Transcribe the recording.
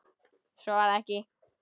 Svo varð ekki.